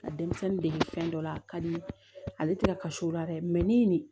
Ka denmisɛnnin dege fɛn dɔ la a ka di n ye ale tɛ ka kasi o la dɛ ni nin